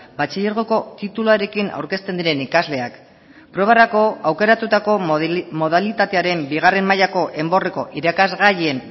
batxilergoko tituluarekin aurkezten diren ikasleak probarako aukeratutako modalitatearen bigarren mailako enborreko irakasgaien